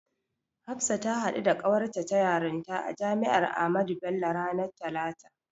Hafsa ta haɗu da ƙawarta ta yarinta a Jami'ar Ahmadu Bello ranar talata.